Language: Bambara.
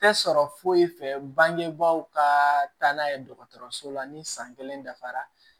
Tɛ sɔrɔ foyi fɛ bangebaaw ka taa n'a ye dɔgɔtɔrɔso la ni san kelen dafara